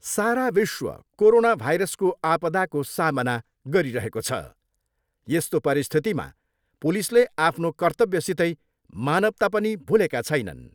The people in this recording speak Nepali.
सारा विश्व कोरोना भाइरसको आपदाको सामना गरिरहेको छ, यस्तो परिस्थितिमा पुलिसले आफ्नो कर्त्तव्यसितै मानवता पनि भुलेका छैनन्।